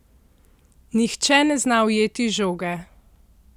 Nihče ne zna ujeti žoge!